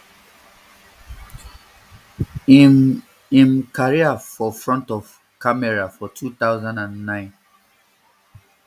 im im career for front of camera for two thousand and nine